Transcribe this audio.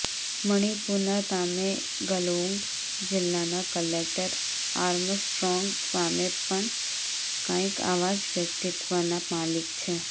મણિપુરના તામેંગલોંગ જિલ્લાના collector Armstrong Pame પણ કંઇક આવા જ વ્યક્તિત્વના માલિક છે